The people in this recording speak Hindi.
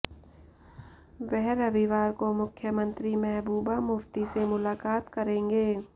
वह रविवार को मुख्यमंत्री महबूबा मुफ्ती से मुलाकात करेंगे